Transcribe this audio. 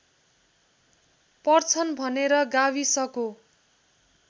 पर्छन् भनेर गाविसको